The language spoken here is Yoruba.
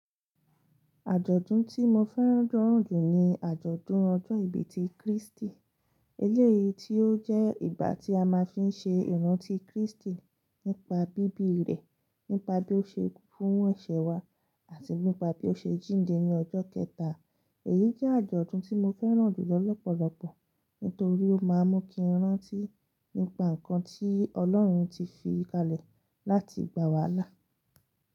Àjọ̀dún tí mo fẹ́ràn jùlọ ni àjọ̀dún ọjọ́ ìbí ti Krístì. Eléyìí tí ó jẹ́ ìgbà tí a máa fi ń ṣe ìrántí Krístì nípa bíbí rẹ̀, nípa bí ó ṣe kú fún eṣẹ̀ wa àti nípa bí ó ṣe jíǹde ní ọjọ́ kẹta. Èyí jẹ́ àjọ̀dún tí mo fẹ́ràn jùlọ lọ́pọ̀lọpọ̀ nítorí ó má ń mú kí n rántí nípa nǹkan tí Ọlọ́run ti fi kalẹ̀ láti gbà wá là.